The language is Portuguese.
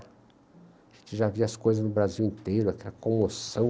A gente já via as coisas no Brasil inteiro, aquela comoção.